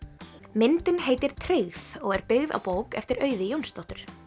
myndin heitir tryggð og er byggð á bók eftir Auði Jónsdóttur